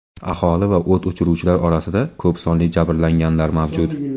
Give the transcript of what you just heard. Aholi va o‘t o‘chiruvchilar orasida ko‘p sonli jabrlanganlar mavjud.